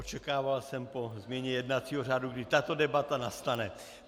Očekával jsem po změně jednacího řádu, kdy tato debata nastane.